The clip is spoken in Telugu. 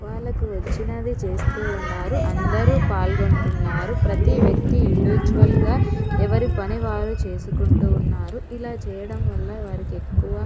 వాల్లకి వచినాది చేస్తు ఉన్నారు. అందరు పాల్గొంటున్నారు. ప్రతి వ్యక్తి ఇండివిడ్యువల్ గా ఎవరి పని వారు చేసుకుంటూ ఉన్నారు. ఇలా చేయడం వాల వారికి ఎక్కువ --